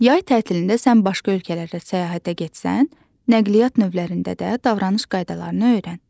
Yay tətilində sən başqa ölkələrə səyahətə getsən, nəqliyyat növlərində də davranış qaydalarını öyrən.